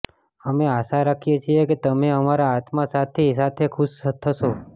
અમે આશા રાખીએ છીએ કે તમે તમારા આત્મા સાથી સાથે ખુશ થશો